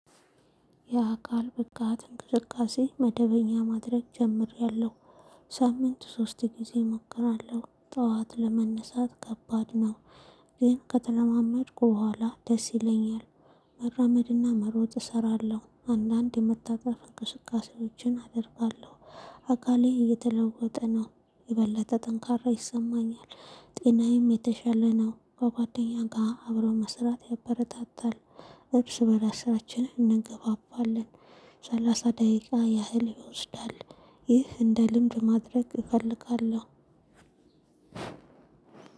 ያ አካል ብቃት እንቅስቃሴ መደበኛ ማድረግ ጀምሬያለሁ ሳምንት ሶስት ጊዜ እሞክራለሁ ጠዋት ለመነሳት ከባድ ነው። ይሄን ከተለማመድኩ በኋላ ደስ ይለኛል። መራመድና መሮጥ እሰራለሁ አንዳንድ የመታጠፍ እንቅስቃሴዎችን አደርጋለሁ። አካሌ እየተለወጠ ነው የበለጠ ጠንካራ ይሰማኛል። ጤናዬም የተሻለ ነው ከጓደኛ ጋር አብሮ መስራት ያበረታታል። እርስ በራስ ስራችንን እንገባባለን። ሰላሳ ደቂቃ ያህል ይወስዳል። ይህ እንደ ልምድ ማድረግ እፈልጋለሁ።